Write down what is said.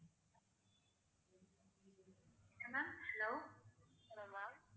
என்ன ma'am hello hello ma'am